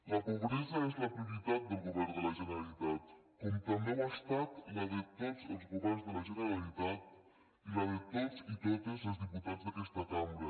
la pobresa és la prioritat del govern de la generalitat com també ho ha estat la de tots els governs de la generalitat i la de tots i totes els diputats d’aquesta cambra